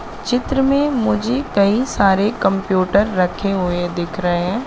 चित्र में मुझे कई सारे कंप्यूटर रखे हुए दिख रहे--